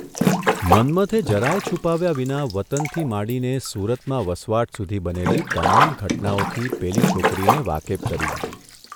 મન્મથે જરાય છુપાવ્યા વિના વતનથી માંડીને સુરતમાં વસવાટ સુધી બનેલી તમામ ઘટનાઓથી પેલી છોકરીને વાકેફ કરી દીધી.